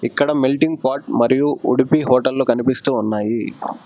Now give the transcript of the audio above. ఇక్కడ melting pot మరియు ఉడిపి హోటల్లు కనిపిస్తూ ఉన్నాయి.